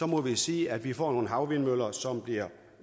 må vi sige at vi får nogle havvindmøller som bliver